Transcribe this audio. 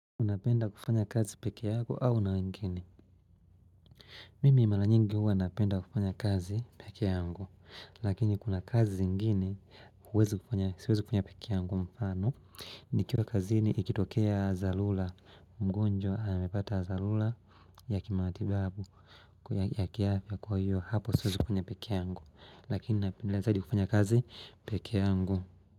Unapenda kufanya kazi peke yako au na wengine? Mimi mala nyingi huwa napenda kufanya kazi pekee yangu. Lakini kuna kazi zingine, siwezi kufanya peke yangu mfano. Nikiwa kazini ikitokea zalula. Mgonjwa amepata zalula ya kimatibabu ya kiafya kwa hiyo hapo siwezi kufanya peke yangu Lakini napenda zaidi kufanya kazi peke yangu.